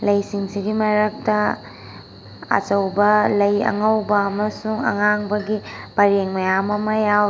ꯂꯩ ꯁꯤꯡ ꯁꯤꯒꯤ ꯃꯔꯛꯇ ꯑꯆꯧꯕ ꯂꯩ ꯑꯉꯧꯕ ꯑꯃꯁꯨꯡ ꯑꯉꯥꯡꯕꯒꯤ ꯄꯥꯔꯦꯡ ꯃꯌꯥꯝ ꯑꯃ ꯌꯥꯎꯔꯤ꯫